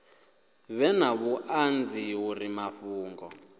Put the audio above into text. vhe na vhuṱanzi uri mafhungo